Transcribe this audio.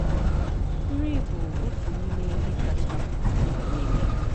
Nri bụ ótù n’ime ihe kacha mkpa n’ụwa niile.